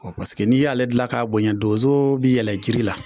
Bɔn Paseke n'i y'ale gila ka bonya donzo bi yɛlɛ jiri la